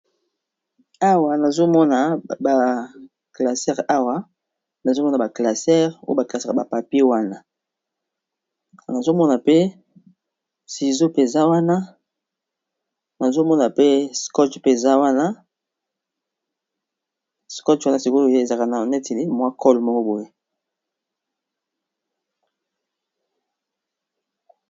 Awa nazomona ba classere awa nazo mona ba classare oyo ba classaka ba papier wana nazomona pe ciseau mpe eza wana nazomona pe skotch mpe eza wana skotch wana sikoyo ezalaka neti mwa cole moko boye.